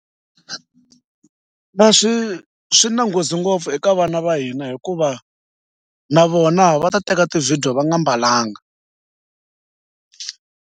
Swi na nghozi ngopfu eka vana va hina hikuva na vona va ta teka ti-video va nga mbalanga.